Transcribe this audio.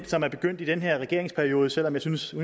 som er begyndt i den her regeringsperiode selv om jeg synes at